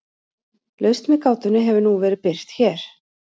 Lausn við gátunni hefur nú verið birt hér.